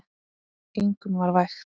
Engum var vægt.